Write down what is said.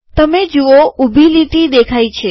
તમે જુઓ ઊભી લીટી દેખાય છે